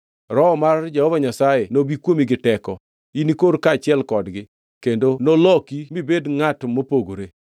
Roho mar Jehova Nyasaye nobi kuomi gi teko, inikor kaachiel kodgi kendo noloki mibed ngʼato mopogore.